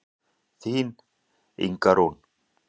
Þín Inga Rún.